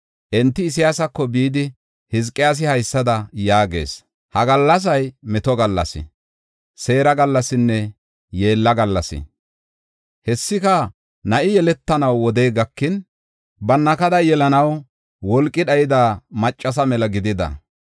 Enti Isayaasako bidi, Hizqiyaasi haysada yaagees: “Ha gallasay meto gallas, seera gallasinne yeella gallas. Hessika na7i yeletanaw wodey gakin, bannakada yelanaw wolqi dhayida maccasa mela gidida.